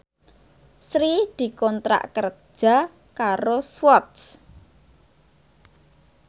Sri dikontrak kerja karo Swatch